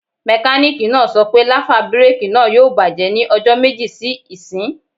Mẹkánìkì náà sọ pé láfà búrèkì náà yóò bàjẹ́ ní ọjọ́ méjì sí ìsín